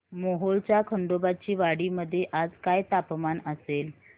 मोहोळच्या खंडोबाची वाडी मध्ये आज काय तापमान असेल